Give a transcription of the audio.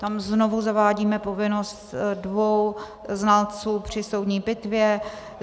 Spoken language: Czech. Tam znovu zavádíme povinnost dvou znalců při soudní pitvě.